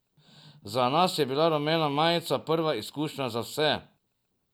Za nas je bila rumena majica prva izkušnja za vse.